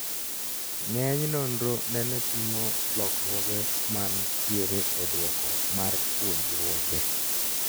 Nge'eny nonro nene pimo lokruoge man tiere e dwoko mar puonjruoge